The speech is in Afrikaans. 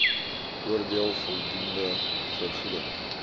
oordeel voldoende vergoeding